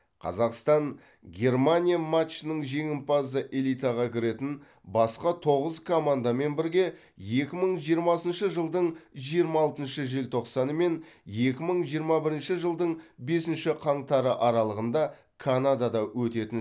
қазақстан германия матчының жеңімпазы элитаға кіретін басқа тоғыз командамен бірге екі мың жиырмасыншы жылдың жиырма алтыншы желтоқсаны мен екі мың жиырма бірінші жылдың бесінші қаңтары аралығында канадада өтетін